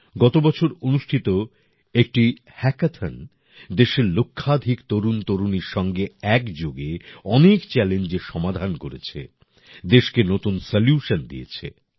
গত বছর অনুষ্ঠিত একটি হ্যাকাথন দেশের লক্ষাধিক তরুণতরুণীর সঙ্গে একযোগে অনেক চ্যালেঞ্জের সমাধান করেছে দেশকে নতুন সলিউশন দিয়েছে